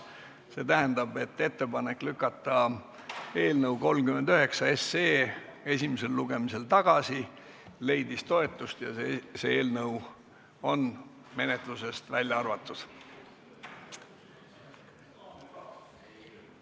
See tähendab, et ettepanek lükata eelnõu 39 esimesel lugemisel tagasi leidis toetust ja see eelnõu on menetlusest välja arvatud.